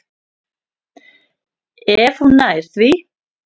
Ef hún nær því.